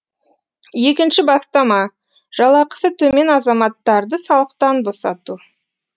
екінші бастама жалақысы төмен азаматтарды салықтан босату